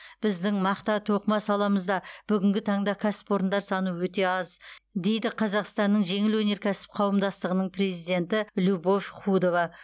біздің мақта тоқыма саламызда бүгінгі таңда кәсіпорындар саны өте аз дейді қазақстанның жеңіл өнеркәсіп қауымдастығының президенті любовь худова